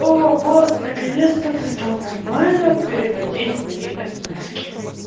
о бот наконец-то ты стал нормально переводить мои эсэмэски